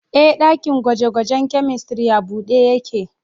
Ee, dakin gwaje-gwajen chemistry a buɗe yake.